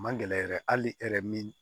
Man gɛlɛn yɛrɛ hali hɛrɛ min